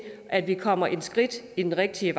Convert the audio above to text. at vi kommer et skridt i den rigtige